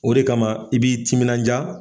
O de kama i b'i timinanja.